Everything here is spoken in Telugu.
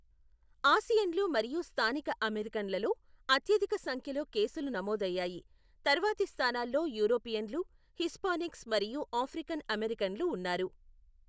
ఆసియన్లు మరియు స్థానిక అమెరికన్లలో అత్యధిక సంఖ్యలో కేసులు నమోదయ్యాయి, తర్వాతి స్థానాల్లో యూరోపియన్లు, హిస్పానిక్స్ మరియు ఆఫ్రికన్ అమెరికన్లు ఉన్నారు.